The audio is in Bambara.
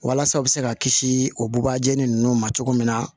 Walasa u bɛ se ka kisi o buba jeni ninnu ma cogo min na